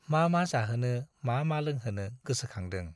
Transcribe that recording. मा मा जाहोनो मा मा लोंहोनो गोसोखांदों।